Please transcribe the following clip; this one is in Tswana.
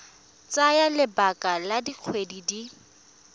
tsaya lebaka la dikgwedi di